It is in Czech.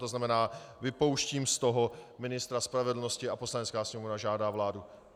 To znamená, vypouštím z toho ministra spravedlnosti a Poslanecká sněmovna žádá vládu.